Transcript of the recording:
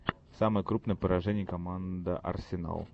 самое крупное поражение команда арсенал